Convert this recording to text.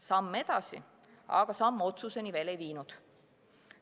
Samm edasi, aga see samm otsuseni veel ei viinud.